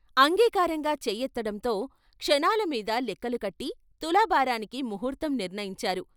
అంగీకారంగా చేయె తడంతో క్షణాల మీద లెఖ్కలు కట్టి తులాభారానికి ముహూర్తం నిర్ణయించారు.